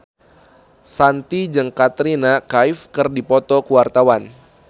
Shanti jeung Katrina Kaif keur dipoto ku wartawan